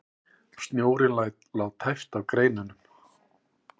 Snjórinn lá tæpt á greinunum.